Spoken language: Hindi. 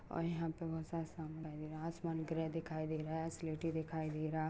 और यहाँ पे बहुत सारा आसमान ग्रे दिखाई दे रहा है स्लेटी दिखाई दे रहा।